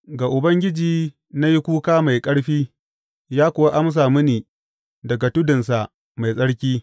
Ga Ubangiji na yi kuka mai ƙarfi, ya kuwa amsa mini daga tudunsa mai tsarki.